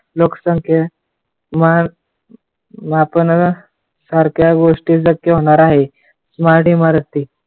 लोकसंख्या माप मापन सारख्या गोष्टी शक्य होणार आहे.